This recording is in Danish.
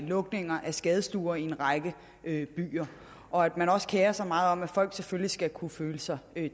lukninger af skadestuer i en række byer og at man også kerer sig meget om at folk selvfølgelig skal kunne føle sig